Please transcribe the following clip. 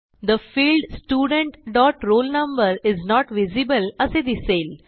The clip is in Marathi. the field student dot roll number is not visible असे दिसेल